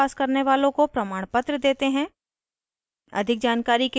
online test pass करने वालों को प्रमाणपत्र देते हैं